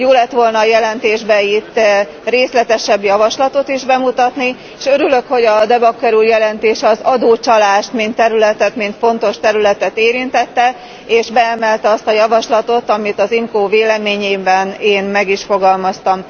Jó lett volna a jelentésben részletesebb javaslatot is bemutatni. Örülök, hogy De Backer úr jelentése az adócsalást mint területet, mint fontos területet érintette, és beemelte azt a javaslatot, amit az IMCO véleményében én meg is fogalmaztam.